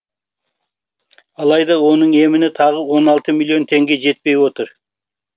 алайда оның еміне тағы он алты миллион теңге жетпей отыр